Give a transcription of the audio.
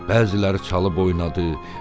Bəziləri çalıb oynadı.